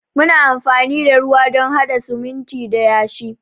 Muna amfani da ruwa don hada sumunti da yashi.